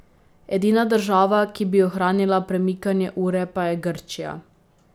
Edina država, ki bi ohranila premikanje ure pa je Grčija.